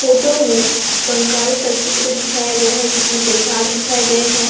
Photo में कंकाल का चित्र दिखाया गया है जिसमें कई भाग दिखाए गए हैं।